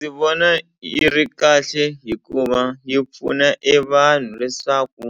Ndzi vona yi ri kahle hikuva yi pfuna e vanhu leswaku